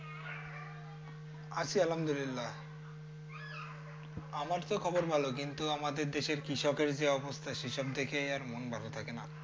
আছি আলহামদুলিল্লা আমার তো খবর ভালো কিন্তু আমাদের দেশে কৃষকের যে অবস্থা সেসব দেখে আর মন ভালো থাকে না।